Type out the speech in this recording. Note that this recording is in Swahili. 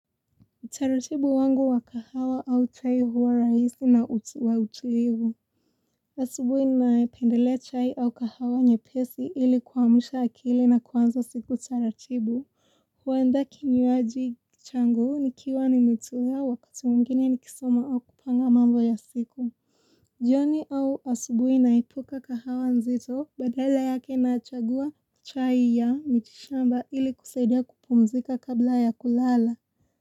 Utaratibu wangu wa kahawa au chai huwa raisi na wa utuivu Asubwi naependelea chai au kahawa nye pesi ili kuamsha akili na kwanza siku taratibu huwenda kinywaji changu nikiwa ni metumia wakati mwingine ni kisoma au kupanga mambo ya siku jioni au asubui naepuka kahawa nzito badala yake nachagua chai ya mitishamba ili kusaidia kupumzika kabla ya kulala.